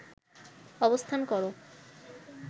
অবস্থান কর